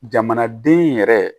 Jamanaden yɛrɛ